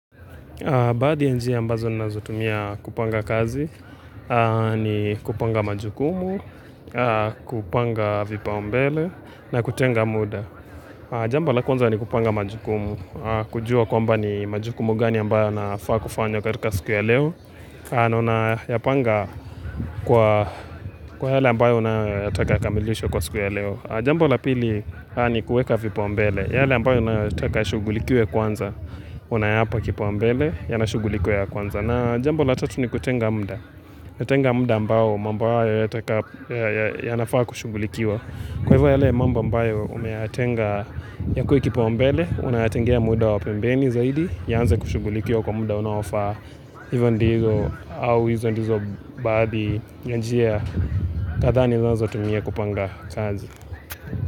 Baadhi ya njia ambazo ninazotumia kupanga kazi, ni kupanga majukumu, kupanga vipaumbele na kutenga muda. Jambo la kwanza ni kupanga majukumu, kujua kwamba ni majukumu gani ambayo yanafaa kufanya katika siku ya leo, na unayapanga kwa kwa yale ambayo unayoyataka yakamilishwe kwa siku ya leo. Jambo la pili ni kuweka vipaumbele. Yale ambayo unayoyataka yashugulikiwe kwanza, unayapa kipaumbele, yanashugulikiwa ya kwanza. Na jambo la tatu ni kutenga muda. Natenga muda ambao mambo hayo yanafaa kushugulikiwa. Kwa hivyo yale mamba ambayo umeyatenga yakuwe kipaumbele, unayatengia muda wa pembeni zaidi, yaanze kushugulikiwa kwa muda unawafaa, hizo ndizo, au hizo ndizo baadhi, ya njia, kadhaa ninazotumia kupanga kazi.